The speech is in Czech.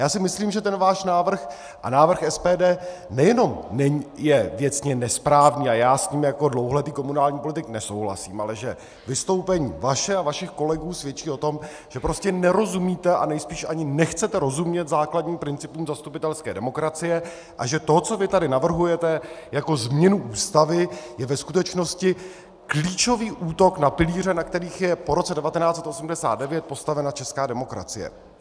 Já si myslím, že ten váš návrh a návrh SPD nejenom je věcně nesprávný, a já s ním jako dlouholetý komunální politik nesouhlasím, ale že vystoupení vaše a vašich kolegů svědčí o tom, že prostě nerozumíte a nejspíš ani nechcete rozumět základním principům zastupitelské demokracie a že to, co vy tady navrhujete jako změnu Ústavy, je ve skutečnosti klíčový útok na pilíře, na kterých je po roce 1989 postavena česká demokracie!